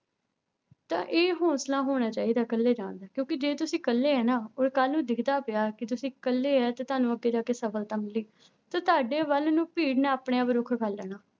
ਤਾਂ ਇਹ ਹੋਸਲਾ ਹੋਣਾ ਚਾਹੀਦਾ ਇਕੱਲੇ ਜਾਣ ਦਾ ਕਿਉਂਕਿ ਜੇ ਤੁਸੀਂ ਇਕੱਲੇ ਹੈ ਨਾ ਉਹ ਕੱਲ੍ਹ ਨੂੰ ਦਿਖਦਾ ਪਿਆ ਕਿ ਤੁਸੀਂ ਇਕੱਲੇ ਹੈ ਤੇ ਤੁਹਾਨੂੰ ਅੱਗੇ ਜਾ ਕੇ ਸਫ਼ਲਤਾ ਮਿਲੇਗੀ, ਤੇ ਤੁਹਾਡੇ ਵੱਲ ਨੂੰ ਭੀੜ ਨੇ ਆਪਣੇ ਆਪ ਰੁੱਖ ਕਰ ਲੈਣਾ।